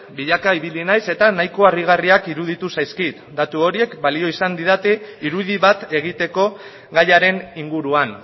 bilaka ibili naiz eta nahiko harrigarriak iruditu zaizkit datu horiek balio izan didate irudi bat egiteko gaiaren inguruan